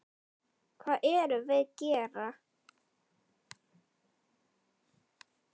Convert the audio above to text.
Hvað erum við gera?